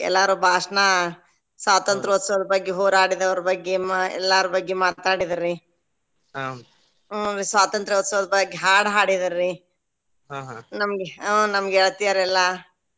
ಎಲ್ಲಾರು ಭಾಷ್ಣ ಸ್ವಾತಂತ್ರ್ಯೋತ್ಸವದ ಬಗ್ಗೆ ಹೋರಾಡಿದವರ ಬಗ್ಗೆ ಎಲ್ಲಾರ್ ಬಗ್ಗೆ ಮಾತಾಡಿದ್ರಿ ಹುಂ ರೀ ಸ್ವಾತಂತ್ರ್ಯೋತ್ಸವದ ಬಗ್ಗೆ ಹಾಡ್ ಹಾಡಿದ್ರಿ ನಮ್ಗೆ ಆ ನಮ್ಗೆ ಗೆಳತಿಯರೆಲ್ಲಾ.